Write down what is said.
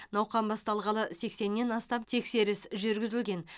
науқан басталғалы сексеннен астам тексеріс жүргізілген